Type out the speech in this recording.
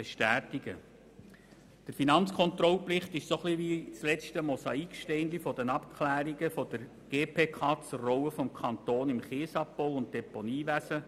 Der Bericht der Finanzkontrolle ist gewissermassen das letzte Mosaiksteinchen bei den Abklärungen der GPK zur Rolle des Kantons im Kiesabbau- und Deponiewesen.